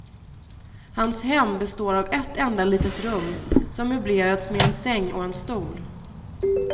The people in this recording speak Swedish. Hans hem består av ett enda litet rum som möblerats med en säng och en stol.